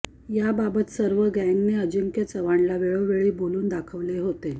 याबाबत सर्व गँगने अजिंक्य चव्हाणला वेळोवेळी हे बोलून दाखवले होते